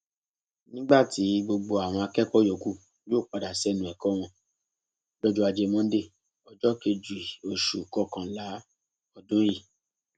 nígbà tí gbogbo àwọn akẹkọọ yòókù yóò padà sẹnu ẹkọ wọn lọjọ ajé monde ọjọ kejì oṣù kọkànlá ọdún yìí